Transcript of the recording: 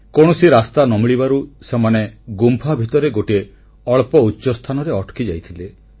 କୌଣସି ରାସ୍ତା ନ ମିଳିବାରୁ ସେମାନେ ଗୁମ୍ଫା ଭିତରେ ଗୋଟିଏ ଅଳ୍ପ ଉଚ୍ଚସ୍ଥାନରେ ଅଟକି ଯାଇଥିଲେ